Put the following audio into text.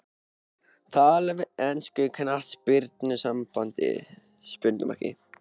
Tala við enska knattspyrnusambandið?